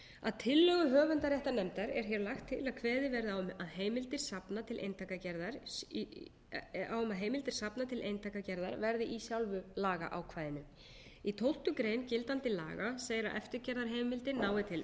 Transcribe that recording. að tillögu höfundaréttarnefndar er hér lagt til að kveðið verði á um að heimildir safna til eintakagerðar verði í sjálfu lagaákvæðinu í tólftu greinar gildandi laga segir að eftirgerðarheimildir nái til